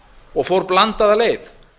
og fór blandaða leið